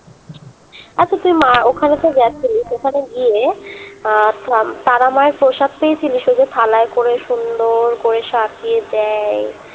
আচ্ছা তুই মা ওখানে তো গেছিলি ওখানে গিয়ে আহ তারা মায়ের প্রসাদ পেয়েছিলিস ওই যে থালায় করে সুন্দর করে সাজিয়ে দেয়